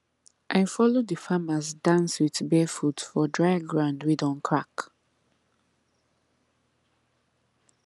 i follow the farmers dance with bare foot for dry ground wey don crack